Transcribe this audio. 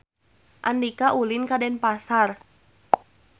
Andika ulin ka Denpasar